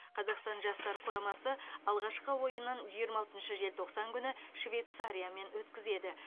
қазақстан жастар құрамасы алғашқы ойынын жиырма алтыншы желтоқсан күні швейцариямен өткізеді